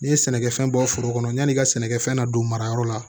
N'i ye sɛnɛkɛfɛn bɔ foro kɔnɔ yan'i ka sɛnɛkɛfɛn na don marayɔrɔ la